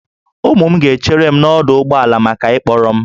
Ụmụ m ga-echere m n'ọdụ ụgbọ ala maka ịkpọrọ m